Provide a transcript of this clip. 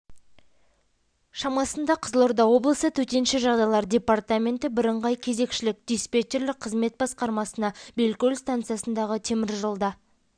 шамасында қызылорда облысы төтенше жағдайлар департаменті бірыңғай кезекшілік диспетчерлік қызмет басқармасына белкөл станциясындағы темір жолда